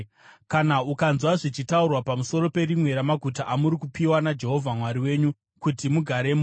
Kana ukanzwa zvichitaurwa pamusoro perimwe ramaguta amuri kupiwa naJehovha Mwari wenyu kuti mugaremo